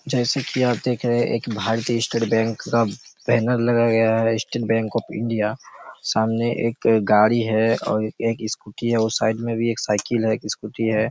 जैसे की आप देख रहे एक भारतीय स्टेट बैंक का बैनर लगा गया हैं स्टेट ऑफ इंडिया सामने एक गाड़ी हैं और एक स्कूटी हैं साइड में भी एक साइकिल हैं स्कूटी हैं।